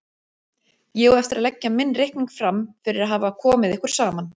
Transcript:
Ég á eftir að leggja minn reikning fram fyrir að hafa komið ykkur saman.